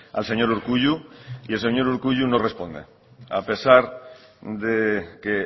al señor urkullu y el señor urkullu no responde a pesar de que